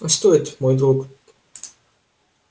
а стоит мой друг